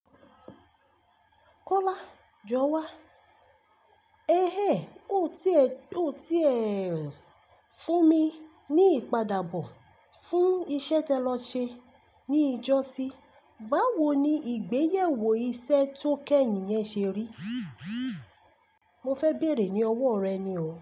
Kọ́lá jọ wá. Ehehn, o ti ẹ̀, o ti ẹ̀ fún mi ní ìpadàbọ̀ fún iṣẹ́ te lọ ṣe ní ìjọ sí. Báwo ni ìgbéyewó iṣẹ́ tó kẹ́yìn yẹn ṣe rí? Mo fẹ bẹ̀rẹ̀ ní ọwọ́ rẹ ni o.